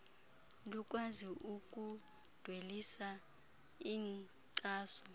lukwazi ukudwelisa inkcaso